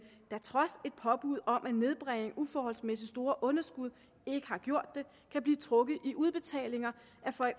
som trods et påbud om at nedbringe uforholdsmæssigt store underskud ikke har gjort det kan blive trukket i udbetalinger